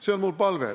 See on mu palve.